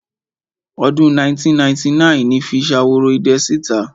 Ọdún 1999 ni fi Ṣaworoidẹ sí ìta.